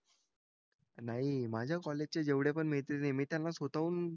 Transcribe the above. नाही माझ्या कॉलेजचे जेवढे पण मैत्रिणी मी त्यांना स्वतःहून